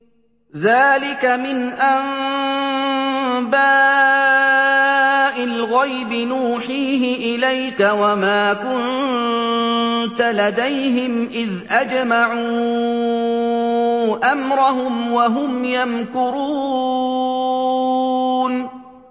ذَٰلِكَ مِنْ أَنبَاءِ الْغَيْبِ نُوحِيهِ إِلَيْكَ ۖ وَمَا كُنتَ لَدَيْهِمْ إِذْ أَجْمَعُوا أَمْرَهُمْ وَهُمْ يَمْكُرُونَ